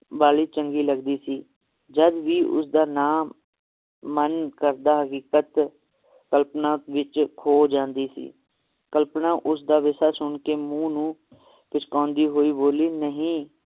ਵਾਲੀ ਚੰਗੀ ਲਗਦੀ ਸੀ ਜਦ ਵੀ ਉਸਦਾ ਨਾਂ ਮਨ ਕਰਦਾ ਹਕੀਕਤ ਕਲਪਨਾ ਵਿਚ ਖੋ ਜਾਂਦੀ ਸੀ ਕਲਪਨਾ ਉਸ ਦਾ ਵਿਸ਼ਾ ਸੁਨ ਕੇ ਮੂੰਹ ਨੂੰ ਪਿਛਕਾਉਂਦੀ ਹੋਈ ਬੋਲੀ ਨਹੀ